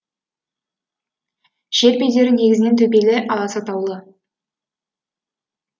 жер бедері негізінен төбелі аласа таулы